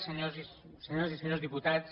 senyores i senyors diputats